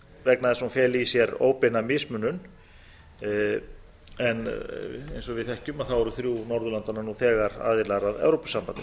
vegna þess að hún feli í sér eiga mismunun en eins og við þekkjum þá eru þrjú norðurlandanna nú þegar aðilar að evrópusambandinu